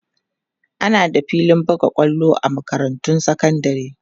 ana da filin buga kwallo a makarantun sekandari